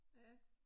Ja